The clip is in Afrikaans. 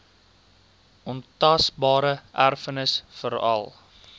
ontasbare erfenis veral